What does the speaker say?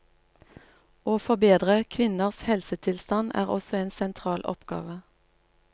Å forbedre kvinners helsetilstand er også en sentral oppgave.